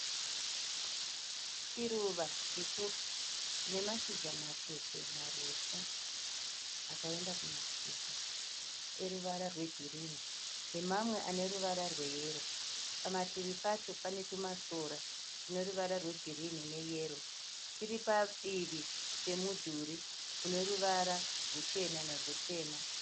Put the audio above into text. Chiruva chipfupi chinemashira matete marefu akaenda kumativi eruvara rwe girini nemamwe aneruvara rweyero. Pamativi pacho panetumasora tuneruvara rwegirini neyero.